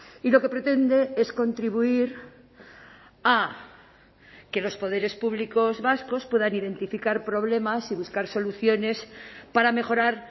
y lo que pretende es contribuir a que los poderes públicos vascos puedan identificar problemas y buscar soluciones para mejorar